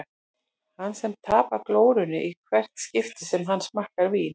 Hann sem tapar glórunni í hvert skipti sem hann smakkar vín.